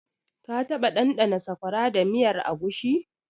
Ka taɓa ɗanɗana Sakwara da miyar agushi?